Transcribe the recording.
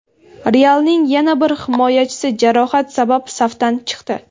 "Real"ning yana bir himoyachisi jarohat sabab safdan chiqdi.